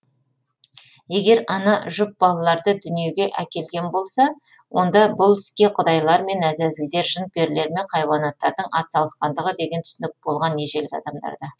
егер ана жұп балаларды дүниеге әкелген болса онда бұл іске құдайлар мен әзәзілдер жын перілер мен хайуанаттардың атсалысқандығы деген түсінік болған ежелгі адамдарда